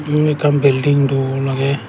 unni ekkan belding dol agey.